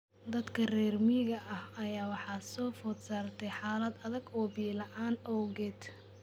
Dadka reer miyiga ah ayaa waxaa soo food saartay xaalad adag oo biyo la�aan awgeed.